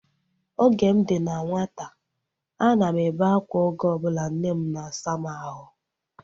Oge m dị na nwata, a na m ebe akwa oge ọbụla nne m na-asa m ahụ